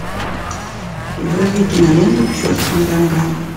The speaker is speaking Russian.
вруби киноленту к черту на рога